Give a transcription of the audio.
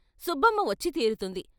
సుబ్బమ్మ వచ్చి తీరుతుంది.